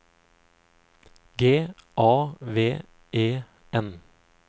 G A V E N